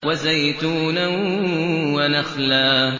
وَزَيْتُونًا وَنَخْلًا